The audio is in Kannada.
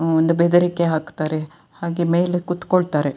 ಊಂ ಒಂದು ಬೆದರಿಕೆ ಹಾಕುತ್ತಾರೆ. ಹಾಗೆ ಮೇಲೆ ಕೂತ್ಕೊಳ್ತಾರೆ.